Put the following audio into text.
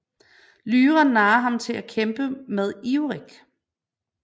Lyra narrer ham til at kæmpe med Iorek